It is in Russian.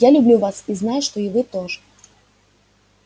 я люблю вас и я знаю что и вы тоже